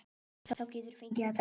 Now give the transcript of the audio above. Þá geturðu fengið að drekka.